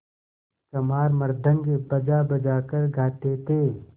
चमार मृदंग बजाबजा कर गाते थे